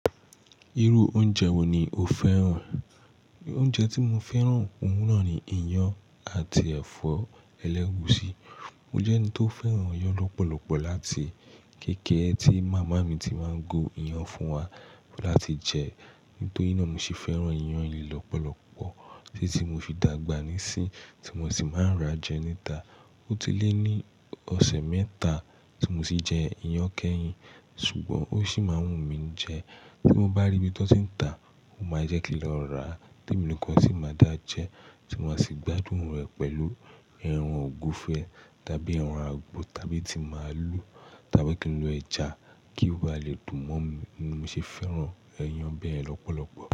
Irú oúnjẹ wo ni o fẹ́ràn? Oúnjẹ tí mo fẹ́ràn oun na ni iyán àti ẹ̀fọ́ ẹlẹ́gusi. Mo jẹ́ ẹni tó fẹ́ràn iyán lọ́pọ̀lọpọ̀ láti kékèré tí màmá mi ti máa ń gun iyán fún wa láti jẹ, nítorí náà ni mo ṣe fẹ́ràn iyán yii lọ́pọ̀lọpọ̀ títí mo fi dàgbà nísìnyí tí mo sì máa ń rà jẹ níta. Ó ti lé ní ọ̀sẹ̀ mẹ́ta tí mo tì jẹ iyán kẹ́yìn, ṣùgbọ́n ó sì máa ń wù mí jẹ. Bí mo bá rí ibi tó ti ń ta, ó máa jẹ́ kí n lọ rà, témi nìkan sì máa dà jẹ tí ma sì gbádùn rẹ̀ pẹ̀lú ẹran ògúnfe tàbí ẹran àgbò tàbí tí máalù, tàbí kí n lo ẹja kí o ba lè dùn mọ́ mi. Ní mo ṣe fẹ́ràn ẹyán bẹ́ẹ̀ lọ́pọ̀lọpọ̀.